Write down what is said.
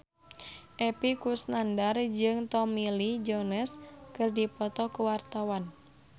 Epy Kusnandar jeung Tommy Lee Jones keur dipoto ku wartawan